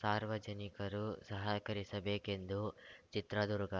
ಸಾರ್ವಜನಿಕರು ಸಹಕರಿಸಬೇಕೆಂದು ಚಿತ್ರದುರ್ಗ